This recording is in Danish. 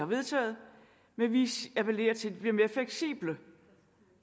vedtaget men vi appellerer til at de bliver mere fleksible